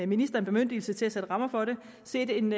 ministeren bemyndigelse til at sætte rammer for det set en